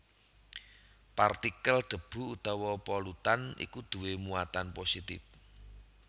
Partikel debu utawa polutan iku duwé muatan positif